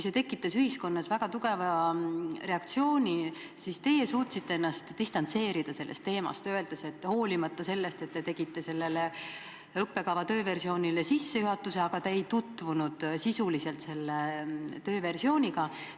See tekitas ühiskonnas väga tugeva reaktsiooni, teie aga suutsite ennast sellest teemast distantseerida, öeldes, et hoolimata sellest, et te tegite sellele õppekava tööversioonile sissejuhatuse, te sisuliselt selle tööversiooniga ei tutvunud.